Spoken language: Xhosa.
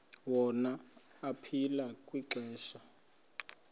wona aphila kwixesha